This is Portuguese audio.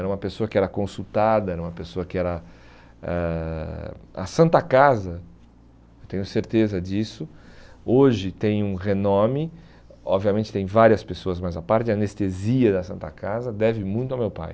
Era uma pessoa que era consultada, era uma pessoa que era... Eh A Santa Casa, tenho certeza disso, hoje tem um renome, obviamente tem várias pessoas mais à parte, a anestesia da Santa Casa deve muito ao meu pai.